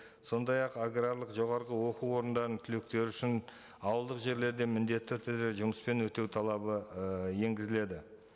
сондай ақ аграрлық жоғарғы оқу орындарының түлектері үшін ауылдық жерлерде міндетті түрде жұмыспен өтеу талабы і енгізіледі